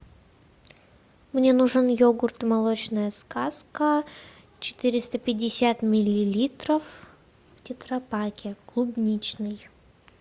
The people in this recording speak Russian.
мне нужен йогурт молочная сказка четыреста пятьдесят миллилитров в тетрапаке клубничный